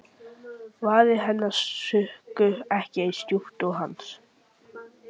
Varir hennar sukku ekki eins djúpt og hans.